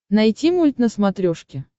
найти мульт на смотрешке